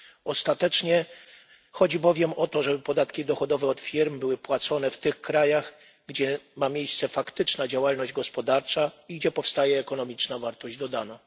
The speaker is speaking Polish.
Ostatecznie chodzi bowiem o to, żeby podatki dochodowe od firm były płacone w tych krajach, gdzie ma miejsce faktyczna działalność gospodarcza i gdzie powstaje ekonomiczna wartość dodana.